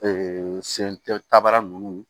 sen tɛ tabara ninnu